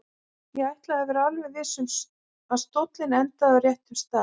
Ég ætlaði að vera alveg viss um að stóllinn endaði á réttum stað.